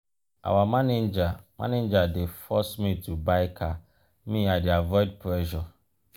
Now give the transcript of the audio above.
our manager manager dey force me to buy car me i dey avoid pressure.